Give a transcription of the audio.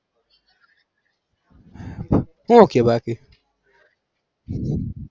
હું કે બાકી?